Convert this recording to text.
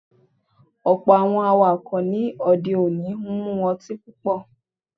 Ọ̀pọ̀ Àwọn awakọ̀ ní òde òní máa ń mú ọtín púpọ̀.